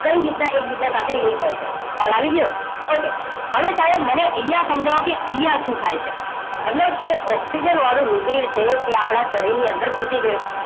કઈ રીત્તના એક બીજા સાથે લિન્ક હોય છે ખ્યાલ આવી ગયો ઓકે હવે તમે મને અહિયાં સમજાવોકે અહિયાં શું થાય છે મતલબ કે ઓક્સિજન વાળું રુધિર છે એ આપણા શરીર ની અંદર ઘુસી ગયું